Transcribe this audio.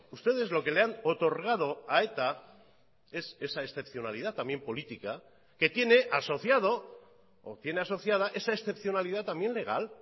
ustedes lo que le han otorgado a eta es esa excepcionalidad también política que tiene asociado o tiene asociada esa excepcionalidad también legal